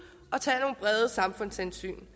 og tage nogle brede samfundshensyn